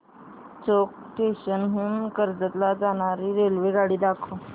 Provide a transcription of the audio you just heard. चौक station हून कर्जत ला जाणारी रेल्वेगाडी दाखव